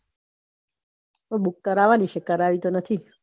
book કરવાની છે કરાવી તો નથી